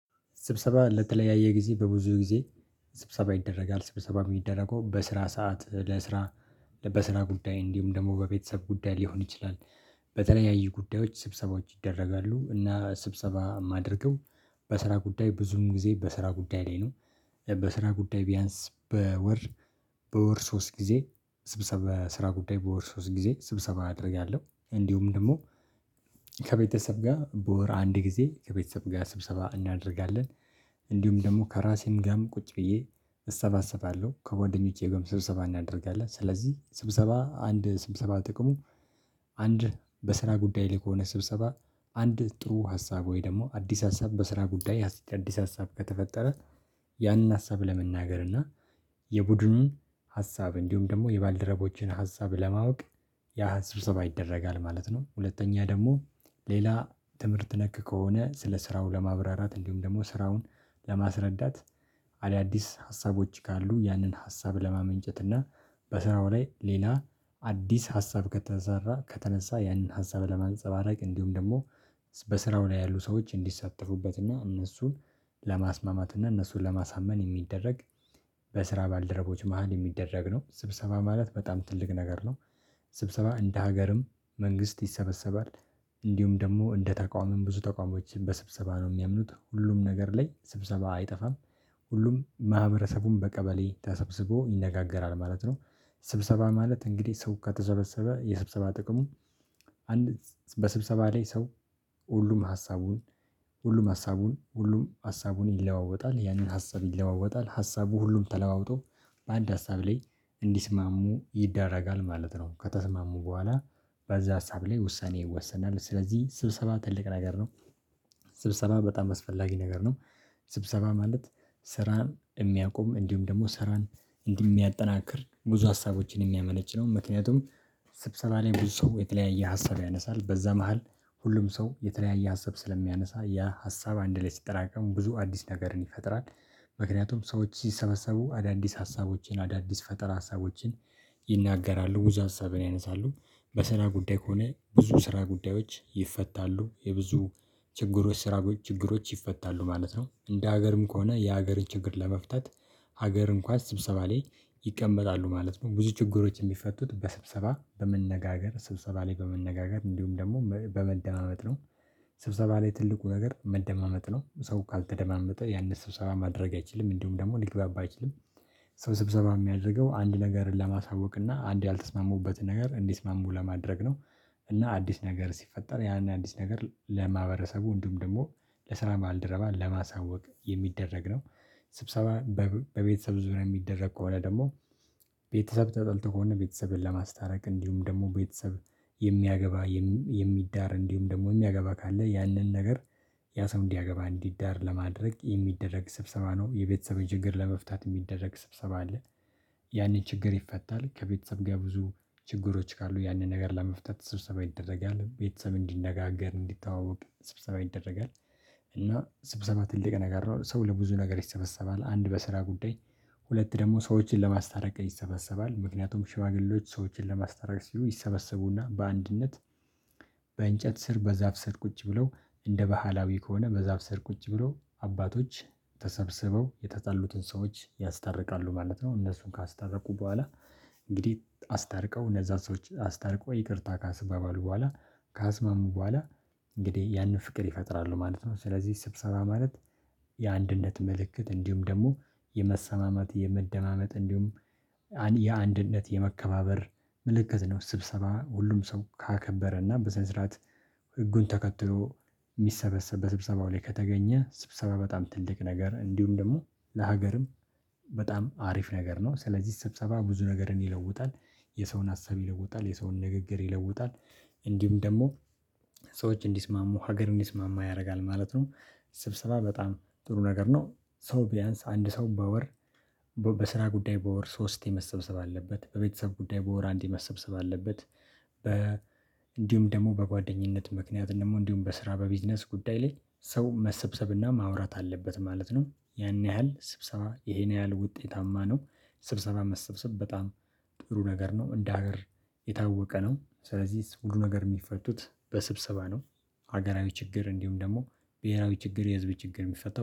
ስብሰባ ለተለያየ ጊዜ በብዙ ጊዜ ስብሰባ ይደረጋል ስብሰባ የሚደረገው በስራ ሰዓት ለስራ በስራ ጉዳይ እንዲሁም ደግሞ በቤተሰብ ጉዳይ ሊሆን ይችላል። በተለያዩ ጉዳዮች ስብሰባዎች ይደረጋሉ እና ስብሰባ የማደርገው በስራ ጉዳይ ብዙም ጊዜ በስራ ጉዳይ ላይ ነው። በስራ ጉዳይ ቢያንስ በወር በወር ሶስት ጊዜ ስብሰባ ስራ ጉዳይ በወር ሶስት ጊዜ ስብሰባ አደርጋለሁ። እንዲሁም ደግሞ ከቤተሰብ ጋር በወር አንድ ጊዜ ከቤተሰብ ጋር ስብሰባ እናደርጋለን። ደግሞ ከራሴን ጋርም ቁጭ ብዬ እሰባስባለሁ ከጓደኞቼ ጋር ስብሰባ እናደርጋለን። ስለዚህ ስብሰባ አንድ ስብሰባ ጥቅሙ አንድ በስራ ጉዳይ ላይ ከሆነ ስብሰባ አንድ ጥሩ ሀሳብ ወይ ደግሞ አዲስ ሀሳብ በስራ ጉዳይ አዲስ ሀሳብ ከተፈጠረ ያንን ሀሳብ ለመናገር እና የቡድኑን ሀሳብ እንዲሁም ደግሞ የባልደረቦችን ሀሳብ ለማወቅ ያ ሀሰብ ይደረጋል ማለት ነው። ሁለተኛ ደግሞ ሌላ ትምህርት ነክ ከሆነ ስለ ስራው ለማብራራት እንዲሁም ደግሞ ስራውን ለማስረዳት አዳዲስ ሀሳቦች ካሉ ያንን ሀሳብ ለማመንጨት እና በስራው ላይ ሌላ አዲስ ሀሳብ ከተሰራ ከተነሳ ያንን ሀሳብ ለማንፀባረቅ እንዲሁም ደግሞ በስራው ላይ ያሉ ሰዎች እንዲሳተፉበትና እነሱን ለማስማማትና እነሱን ለማሳመን የሚደረግ በስራ ባልደረቦች መሃል የሚደረግ ነው ስብሰባ ማለት በጣም ትልቅ ነገር ነው። ስብሰባ እንደ ሀገርም መንግስት ይሰበሰባል እንዲሁም ደግሞ እንደ ተቃዋሚም ብዙ ተቃዋሚዎች በስብሰባ ነው የሚያምኑት ሁሉም ነገር ላይ ስብሰባ አይጠፋም። ሁሉም ማህበረሰቡን በቀበሌ ተሰብስቦ ይነጋገራል ማለት ነው። ስብሰባ ማለት እንግዲህ ሰው ከተዘበሰበ የስብሰባ ጥቅሙ አንድ በስብሰባ ላይ ሰው ሁሉም ሀሳቡን ሁሉም ሀሳቡን ሁሉም ሀሳቡን ይለዋወጣል ያንን ሀሳብ ይለዋወጣል ሀሳቡ ሁሉም ተለዋውጦ በአንድ ሀሳብ ላይ እንዲስማሙ ይደረጋል ማለት ነው። ከተስማሙ በኋላ በዛ ሀሳብ ላይ ውሳኔ ይወሰናል ስለዚህ ስብሰባ ትልቅ ነገር ነው። ስብሰባ በጣም አስፈላጊ ነገር ነው። ስብሰባ ማለት ስራን የሚያቆም እንዲሁም ደግሞ ስራን እንዲህ የሚያጠናክር ብዙ ሀሳቦችን የሚያመነጭ ነው። ምክንያቱም ስብሰባ ላይ ብዙ ሰው የተለያየ ሀሳብ ያነሳል በዛ መሃል ሁሉም ሰው የተለያየ ሀሳብ ስለሚያነሳ ያ ሀሳብ አንድ ላይ ሲጠራቀም ብዙ አዲስ ነገርን ይፈጥራል። ምክንያቱም ሰዎች ሲሰበሰቡ አዳዲስ ሀሳቦችን አዳዲስ ፈጠራ ሀሳቦችን ይናገራሉ ብዙ ሀሳብን ያነሳሉ በስራ ጉዳይ ከሆነ ብዙ ስራ ጉዳዮች ይፈታሉ የብዙ ችግሮች ስራዎች ችግሮች ይፈታሉ ማለት ነው። እንደ ሀገርም ከሆነ የሀገር ችግር ለመፍታት ሀገር እንኳን ስብሰባ ላይ ይቀመጣሉ ማለት ነው ብዙ ችግሮች የሚፈቱት በስብሰባ በመነጋገር ስብሰባ ላይ በመነጋገር እንዲሁም ደግሞ በመደማመጥ ነው። ስብሰባ ላይ ትልቁ ነገር መደማመጥ ነው ሰው ካልተደማመጠ ያንን ስብሰባ ማድረግ አይችልም እንዲሁም ደግሞ ሊግባባ አይችልም። ሰው ስብሰባ የሚያደርገው አንድ ነገርን ለማሳወቅ እና አንድ ያልተስማሙበትን ነገር እንዲስማሙ ለማድረግ ነው። እና አዲስ ነገር ሲፈጠር ያን አዲስ ነገር ለማህበረሰቡ እንዲሁም ደግሞ ለስራ ማልደረባ ለማሳወቅ የሚደረግ ነው። ስብሰባ በቤተሰብ ዙሪያ የሚደረግ ከሆነ ደግሞ ቤተሰብ ተጠልቶ ከሆነ ቤተሰብን ለማስታረቅ እንዲሁም ደግሞ ቤተሰብ የሚያገባ የሚዳር እንዲሁም ደግሞ የሚያገባ ካለ ያንን ነገር ያ ሰው እንዲያገባ እንዲዳር ለማድረግ የሚደረግ ስብሰባ ነው የቤተሰብን ችግር ለመፍታት የሚደረግ ስብሰባ አለ። ያኔ ችግር ይፈታል ከቤተሰብ ጋር ብዙ ችግሮች ካሉ ያንን ነገር ለመፍታት ስብሰባ ይደረጋል ቤተሰብ እንዲነጋገር እንዲተዋወቅ ስብሰባ ይደረጋል። እና ስብሰባ ትልቅ ነገር ነው ሰው ለብዙ ነገር ይሰበሰባል አንድ በስራ ጉዳይ ሁለት ደግሞ ሰዎችን ለማስተረቅ ይሰበሰባል ምክንያቱም ሽማግሌዎች ሰዎችን ለማስተላለፍ ሲሉ ይሰበሰቡና በአንድነት በእንጨት ስር በዛፍ ስር ቁጭ ብለው እንደ ባህላዊ ከሆነ በዛፍ ሰር ቁጭ ብሎ አባቶች ተሰብስበው የተጻሉትን ሰዎች ያስታርቃሉ ማለት ነው። እነሱን ካስተረቁ በኋላ እንግዲህ አስታርቀው እነዛን ሰዎች አስታርቆ ይቅርታ ካስባባሉ በኋላ ከአስማሙ በኋላ እንግዲህ ያንን ፍቅር ይፈጥራሉ ማለት ነው። ስለዚህ ስብሰባ ማለት የአንድነት ምልክት እንዲሁም ደግሞ የመሰማማት የመደማመጥ እንዲሁም የአንድነት የመከባበር ምልክት ነው። ስብሰባ ሁሉም ሰው ካከበረና በስነ ስርዓት ህጉን ተከትሎ የሚሰበሰብ በስብሰባው ላይ ከተገኘ ስብሰባ በጣም ትልቅ ነገር እንዲሁም ደግሞ ለሀገርም በጣም አሪፍ ነገር ነው። ስለዚህ ስብሰባ ብዙ ነገርን ይለውጣል የሰውን ሀሳብ ይለውጣል የሰውን ንግግር ይለውጣል እንዲሁም ደግሞ ሰዎች እንዲስማሙ ሀገር እንዲስማማ ያደርጋል ማለት ነው። ስብሰባ በጣም ጥሩ ነገር ነው ሰው ቢያንስ አንድ ሰው በወር በስራ ጉዳይ በወር ሶስቴ መሰብሰብ አለበት በቤተሰብ ጉዳይ በወር አንድዴ መሰብሰብ አለበት። በ እንዲሁም ደግሞ በጓደኝነት ምክንያት ደግሞ እንዲሁም በስራ በቢዝነስ ጉዳይ ላይ ሰው መሰብሰብና ማውራት አለበት ማለት ነው። ያን ያህል ስብሰባ ይሄን ያህል ውጤታማ ነው። ስብሰባ መሰብሰብ በጣም ጥሩ ነገር ነው። እንደ ሀገር የታወቀ ነው። ስለዚህ ሁሉ ነገር የሚፈቱት በስብሰባ ነው። ሀገራዊ ችግር እንዲሁም ደግሞ ብሄራዊ ችግር የህዝብ ችግር የሚፈቱታው